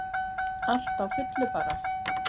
Allt á fullu bara.